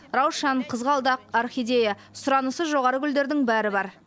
раушан қызғалдақ орхидея сұранысы жоғары гүлдердің бәрі бар